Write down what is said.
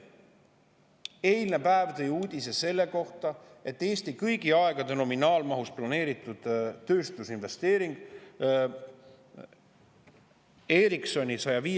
Eilne päev tõi uudise, et nominaalmahus kõigi aegade Eestisse planeeritud tööstusinvesteering.